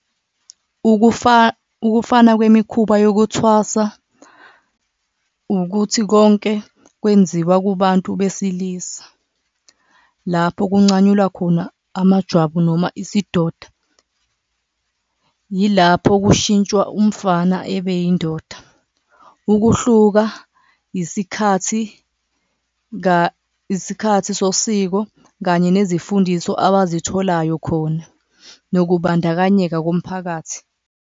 Ukufana kwemikhuba yokuthwasa ukuthi konke kwenziwa kubantu besilisa lapho kuncanyulwa khona amajwabu noma isidoda, yilapho kushintshwa umfana ebeyindoda, ukuhluka isikhathi isikhathi sosiko kanye nezifundiso abazitholayo khona nokubandakanyeka komphakathi.